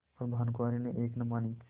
पर भानुकुँवरि ने एक न मानी